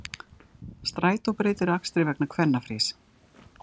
Strætó breytir akstri vegna kvennafrís